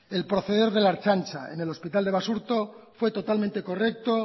el proceder de la ertzaintza en el hospital de basurto fue totalmente correcto